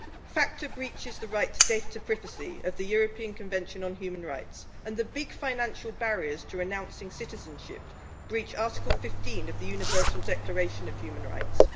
FATCA breaches the right to data privacy of the European Convention on Human Rights, and the big financial barriers to renouncing citizenship breach Article 15 of the Universal Declaration of Human Rights.